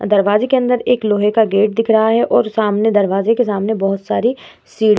दरवाजे के अंदर एक लोहे का गेट दिख रहा है और सामने दरवाजे के सामने बहुत सारी सी --